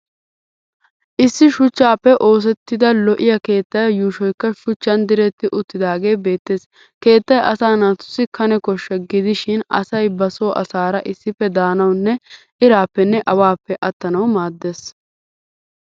Issi shuchchaappe oosettida lo'iya keettaa yuushoykka shuchchan diretti uttidaagee beettes. Keettay asaa naatussi kane koshsha gidishin asay ba Soo asaara issippe daanawunne iraappenne awaappe attanawu maaddes.